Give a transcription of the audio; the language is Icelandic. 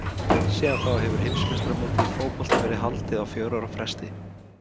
Síðan þá hefur heimsmeistaramót í fótbolta verið haldið á fjögurra ára fresti.